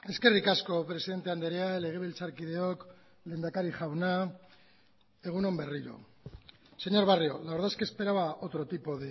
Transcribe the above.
eskerrik asko presidente andrea legebiltzarkideok lehendakari jauna egun on berriro señor barrio la verdad es que esperaba otro tipo